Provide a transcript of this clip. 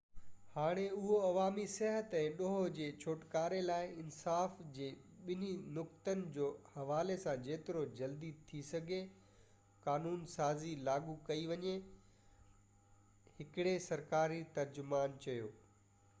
هاڻي اهو عوامي صحت ۽ ڏوهہ جي ڇوٽڪاري لاءِ انصاف جي ٻني نقطن جو حوالي سان جيترو جلدي ٿي سگهي قانون سازي لاڳو ڪئي وڃي هڪڙي سرڪاري ترجمان چيو